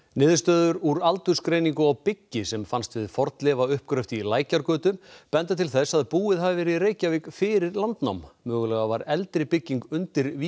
niðurstöður úr aldursgreiningu á byggi sem fannst við fornleifauppgröft í Lækjargötu benda til þess að búið hafi verið í Reykjavík fyrir landnám mögulega var eldri bygging undir